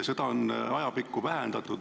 Seda on ajapikku vähendatud.